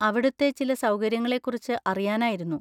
അവിടുത്തെ ചില സൗകര്യങ്ങളെ കുറിച്ച് അറിയാനായിരുന്നു.